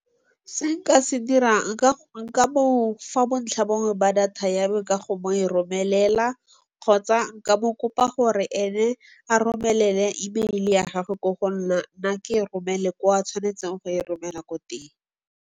Se nka se dirang nka mofa bontlhabongwe ba data ya me ka go mo romelela kgotsa nka mo kopa gore ene a romelele email-e ya gagwe ko go nna nna ke romele ko a tshwanetseng go e romela ko teng.